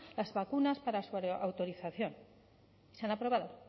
las vacunas para su autorización se han aprobado